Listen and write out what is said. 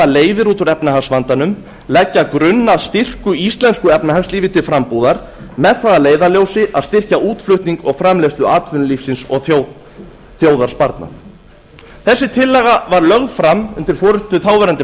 leiðir út úr efnahagsvandanum leggja grunn að styrku íslensku efnahagslífi til frambúðar með það að leiðarljósi að styrkja útflutning og framleiðslu atvinnulífsins og þjóðarsparnað þessi tillaga var lögð fram undir forustu þáv